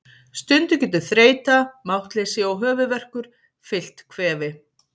Stundum getur þreyta, máttleysi og höfuðverkur fylgt kvefi.